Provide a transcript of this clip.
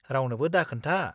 -रावनोबो दाखोन्था।